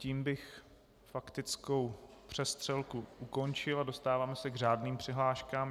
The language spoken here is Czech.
Tím bych faktickou přestřelku ukončil a dostáváme se k řádným přihláškám.